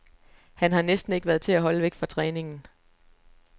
Han har næsten ikke været til at holde væk fra træningen.